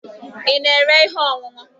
Ị na-ere ihe ọṅụṅụ?